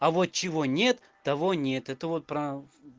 а вот чего нет того нет это вот прав